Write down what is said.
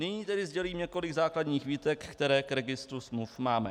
Nyní tedy sdělím několik základních výtek, které k registru smluv máme.